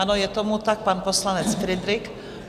Ano, je tomu tak, pan poslanec Fridrich.